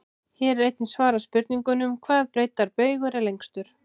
Hér er einnig svarað spurningunum: Hvaða breiddarbaugur er lengstur?